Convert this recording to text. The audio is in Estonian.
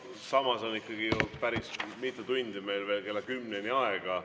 Samas on ikkagi ju päris mitu tundi meil veel kella kümneni aega.